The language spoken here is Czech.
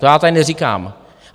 To já tady neříkám.